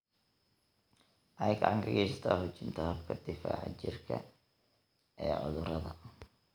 Waxay gacan ka geysataa xoojinta habka difaaca jirka ee cudurrada.